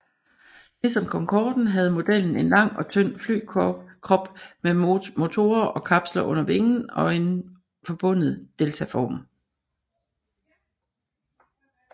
Ligesom Concorden havde modellen en lang og tynd flykrop med motorer i kapsler under vingen og en forbundet deltaform